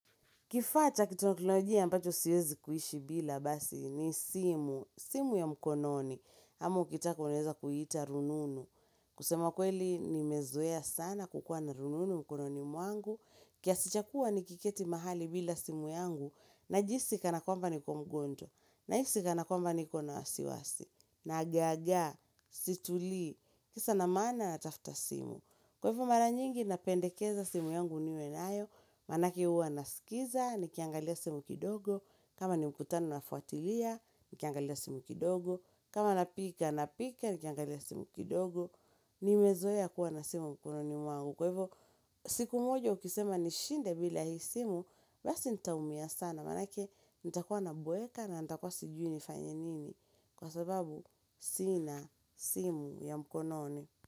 Kifaa cha kiteknolojia mbacho siwezi kuishi bila basi ni simu, simu ya mkononi. Ama ukitaka unaeza kuiita rununu. Kusema kweli nimezoea sana kukua na rununu mkononi mwangu. Kiasi cha kua nikiketi mahali bila simu yangu najihisi kanakwamba niko mgonjwa. Nahisi kanakwamba niko na wasiwasi. Nagagaa, situli, kisa na maana natafuta simu. Kwaivo mara nyingi napendekeza simu yangu niwe nayo, manake uwa nasikiza, nikiangalia simu kidogo, kama ni mkutano na fuatilia, nikiangalia simu kidogo, kama napika, napika, nikiangalia simu kidogo, nimezoeya kuwa na simu mkono ni mwangu. Kwaivo siku moja ukisema ni shinde bila hii simu, basi nitaumia sana, manake nitakuwa naboeka na nitakuwa sijui nifanyenini kwa sababu sina simu ya mkononi.